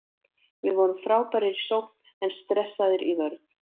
Við vorum frábærir í sókn en stressaðir í vörn.